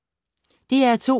DR2